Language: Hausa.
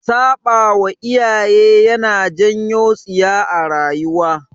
Saɓawa iyaye yana janyo tsiya a rayuwa